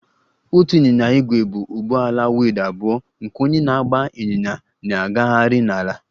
Otu ịnyịnya ígwè bụ ụgbọala wheeled abụọ nke onye na-agba ịnyịnya na-agagharị n'ala